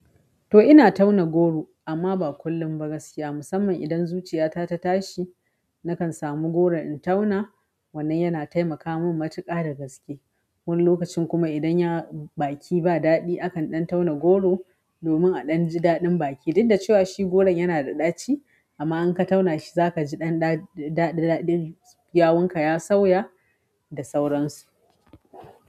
To ina tauna goro amma ba kullum ba gaskiya musamman idan zuciyata ta tashi nakan samu goron in tauna wannan yana taimaka min matuka da gaske. Wani lokacin kuma idan ya baki ba daɗi akan ɗan tauna goro domin a ɗan ji daɗin baki, dikda cewa shi goron yana da ɗaci amma in ka tauna shi zaka ji ɗan daɗin yawan ka ya sauya da sauransu.